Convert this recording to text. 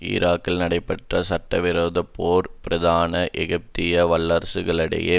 ஈராக்கில் நடைபெற்ற சட்டவிரோதப் போர் பிரதான ஏகாதிபத்திய வல்லரசுகளிடையே